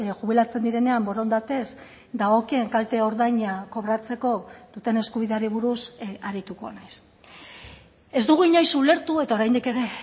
jubilatzen direnean borondatez dagokien kalte ordaina kobratzeko duten eskubideari buruz arituko naiz ez dugu inoiz ulertu eta oraindik ere